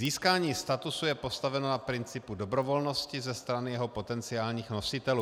Získání statusu je postaveno na principu dobrovolnosti ze strany jeho potenciálních nositelů.